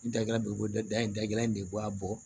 N dala degela in de bɔ a bɔ